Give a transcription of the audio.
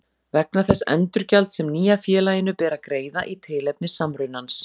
vegna þess endurgjalds sem nýja félaginu ber að greiða í tilefni samrunans.